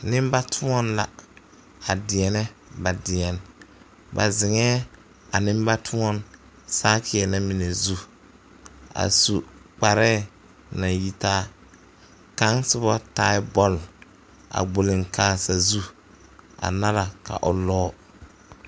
Nimbatoɔn la a deɛnɛ ba deɛnɛ ba ziŋɛɛ a nimbatoɔn saakeɛ na mine zu a su kparɛɛ naŋ yitaa kaŋ soba taɛ bɔl a gbɔliŋkaa sazu a nara ka o lɔɔ.